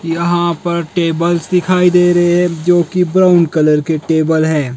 यहाँ पर टेबल्स दिखाई दे रहें हैं जो की ब्राउन कलर के टेबल हैं।